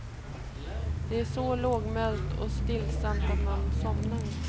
Det är så lågmält och stillsamt att man somnar.